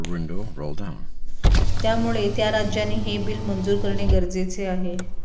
त्यामुळे त्या राज्यांनी हे बिल मंजूर करणे गरजेचे आहे